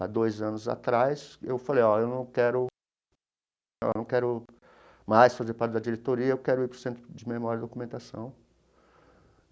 Há dois anos atrás, eu falei ó, eu não quero não quero mais fazer parte da diretoria, eu quero ir para o Centro de Memória e Documentação.